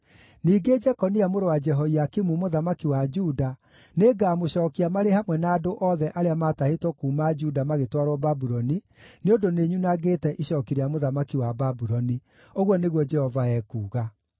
Ningĩ Jekonia mũrũ wa Jehoiakimu mũthamaki wa Juda, nĩngamũcookia marĩ hamwe na andũ othe arĩa maatahĩtwo kuuma Juda magĩtwarwo Babuloni, nĩ ũndũ nĩnyunangĩte icooki rĩa mũthamaki wa Babuloni,’ ” ũguo nĩguo Jehova ekuuga.